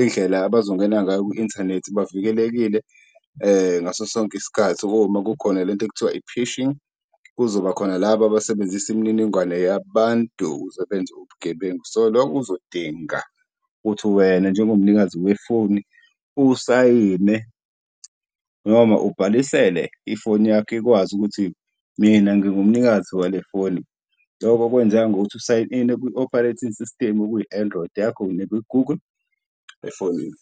indlela abazongena ngayo kwi-inthanethi bavikelekile ngaso sonke isikhathi, uma kukhona lento ekuthiwa i-phishing kuzoba khona laba abasebenzisa imininingwane yabantu ukuze benze ubugebengu. So loku kuzodinga ukuthi wena njengomnikazi wefoni usayine noma ubhalisele ifoni yakho ikwazi ukuthi mina ngingumnikazi wale foni, loko kwenzeka ngokuthi u-sign ine kwi-Operating System okuyi-Android yakho nekwi-Google efonini.